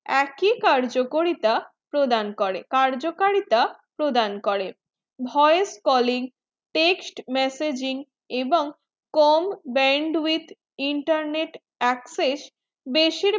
এক ই কার্য করিতা প্রদান করে কার্য কারিতা প্রদান করে voice calling text messaging এবং com band with internet access বেশির